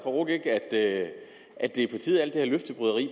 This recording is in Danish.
at